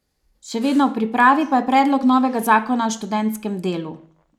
Še vedno v pripravi pa je predlog novega zakona o študentskem delu.